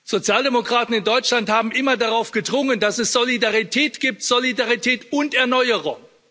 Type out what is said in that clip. Sozialdemokraten in Deutschland haben immer darauf gedrungen, dass es Solidarität gibt, Solidarität und Erneuerung.